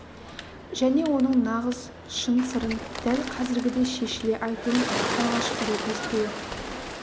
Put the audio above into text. және оның нағыз шын сырын дәл қазіргідей шешіле айтуын алғашқы рет естуі